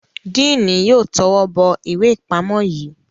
Diini yóò towó bó ìwé ipamọ yí.